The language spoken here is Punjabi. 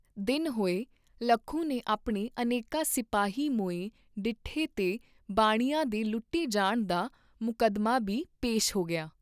ਦਿਨ ਹੋਏ ਲੱਖੂ ਨੇ ਆਪਣੇ ਅਨੇਕਾਂ ਸਿਪਾਹੀ ਮੋਏ ਡਿੱਠੇ ਤੇ ਬਾਣੀਏਂ ਦੇ ਲੁੱਟੇ ਜਾਣ ਦਾ ਮੁਕੱਦਮਾ ਬੀ ਪੇਸ਼ ਹੋ ਗਿਆ।